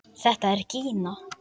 Þetta er Gína!